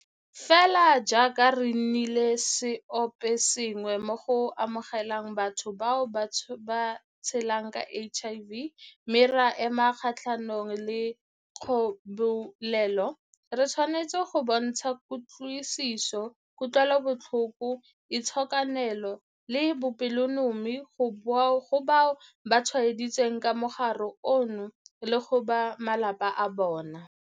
Fela jaaka re nnile seoposengwe mo go amogeleng batho bao ba tshelang ka HIV mme ra ema kgatlhanong le kgobelelo, re tshwanetse go bontsha kutlwisiso, kutlwelobotlhoko, itshokelano le bopelonomi go bao ba tshwaeditsweng ke mogare ono le go ba malapa a bona.